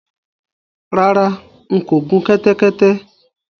Rárá, n kò gun kẹ́tẹ́kẹ́tẹ́